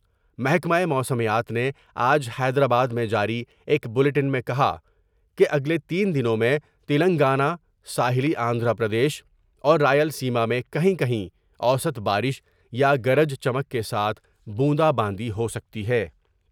محکمہ موسمیات نے آج حیدرآباد میں جاری ایک بولیٹن میں کہا کہ اگلے تین دنوں میں تلنگانہ ، ساحلی آندھرا پردیش اور رائل سیما میں کہیں کہیں اوسط بارش یا گرج چمک کے ساتھ بوندا باندی ہوسکتی ہے ۔